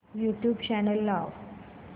YouTube channel लाव